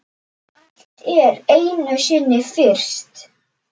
Allt er einu sinni fyrst.